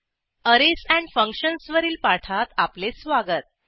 arrays functions वरील पाठात आपले स्वागत